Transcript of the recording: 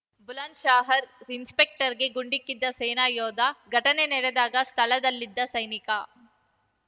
ಬುಲಂದ್‌ಶಹರ್‌ ಇನ್ಸ್‌ಪೆಕ್ಟರ್‌ಗೆ ಗುಂಡಿಕ್ಕಿದ್ದು ಸೇನಾ ಯೋಧ ಘಟನೆ ನಡೆದಾಗ ಸ್ಥಳದಲ್ಲಿದ್ದ ಸೈನಿಕ